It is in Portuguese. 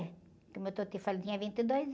Como eu estou te falando, eu tinha vinte e dois